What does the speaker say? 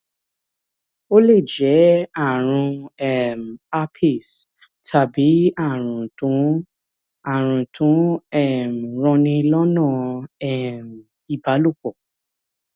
ó lè jẹ́ ààrùn um herpes tàbí ààrùn tó ń ààrùn tó ń um ranni lọnà um ìbálòpọ̀